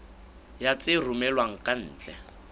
ya tse romellwang ka ntle